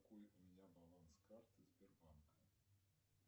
какой у меня баланс карты сбербанка